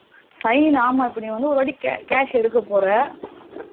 sign ஆமா நீ வந்து ஒரு வாட்டி cash எடுக்கா போற